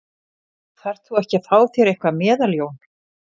Þarft þú ekki að fá þér eitthvað meðal Jón?